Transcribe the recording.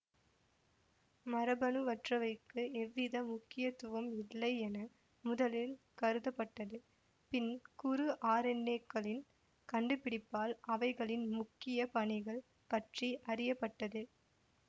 மரபணுவற்றவைக்கு எவ்வித முக்கியத்துவம் இல்லை என முதலில் கருதப்பட்டது பின் குறு ஆர்என்ஏ க்களின் கண்டுபிடிப்பால் அவைகளின் முக்கிய பணிகள் பற்றி அறிய பட்டது